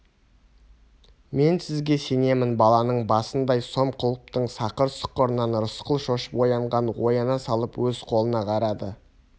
мен сізге сенемін баланың басындай сом құлыптың сақыр-сұқырынан рысқұл шошып оянған ояна салып өз қолына қарады